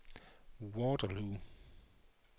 Waterloo